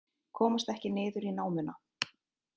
Komast ekki niður í námuna